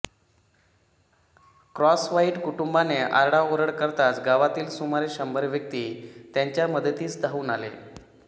Crosswhite कुटुंबाने आरडाओरडा करताच गावातील सुमारे शंभर व्यक्ती त्यांच्या मदतीस धावून आले